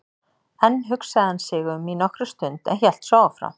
Enn hugsaði hann sig um í nokkra stund en hélt svo áfram